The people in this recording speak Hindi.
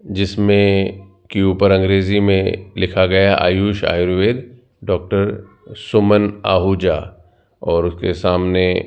जिसमें कि ऊपर अंग्रेजी में लिखा गया आयुष आयुर्वेद डॉक्टर सुमन आहूजा और उसके सामने --